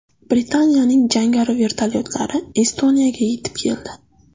Britaniyaning jangari vertolyotlari Estoniyaga yetib keldi.